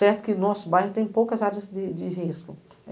Certo que o nosso bairro tem poucas áreas de risco.